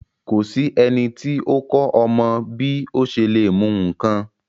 Ko sí ẹniti o kọ ọmọ bi o ṣe le mu nkán.